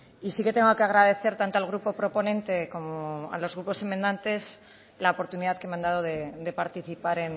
y sí que tengo que agradecer tanto al grupo proponente como a los grupos enmendantes la oportunidad que me han dado de participar